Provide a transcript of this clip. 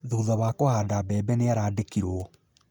Thutha wa kũhanda mbebe nĩarandĩkirwo